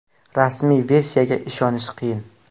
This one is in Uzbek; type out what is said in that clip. Rasmiy versiyaga ishonish qiyin.